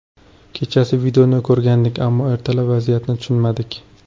Kechasi videoni ko‘rgandik, ammo ertalab vaziyatni tushunmadik.